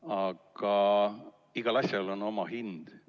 Aga igal asjal on oma hind.